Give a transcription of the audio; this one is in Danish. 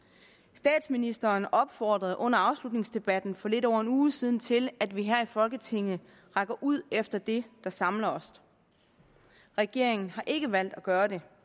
statsministeren opfordrede under afslutningsdebatten for lidt over en uge siden til at vi her i folketinget rækker ud efter det der samler os regeringen har ikke valgt at gøre det